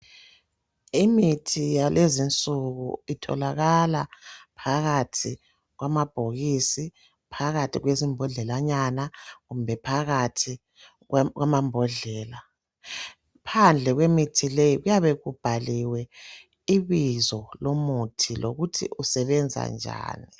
Imithi yalezinsuku itholakala phakathi kwamabhokisi, phakathi kwezimbodlelanyana kumbe phakathi kwamambodlela. Phandle kwemithi leyi kuyabe kubhaliwe ibizo lomuthi lokuthi usebenza njani.